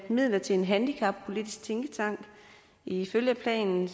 midler til en handicappolitisk tænketank ifølge planen